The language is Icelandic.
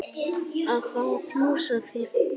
Að fá að knúsa þig.